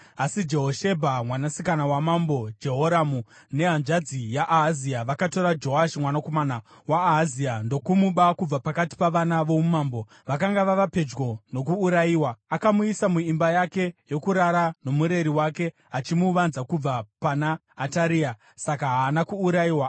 Asi Jehoshebha, mwanasikana waMambo Jehoramu nehanzvadzi yaAhazia, vakatora Joashi mwanakomana waAhazia ndokumuba kubva pakati pavana voumambo, vakanga vava pedyo nokuurayiwa. Akamuisa muimba yake yokurara nomureri wake achimuvanza kubva pana Ataria; saka haana kuurayiwa.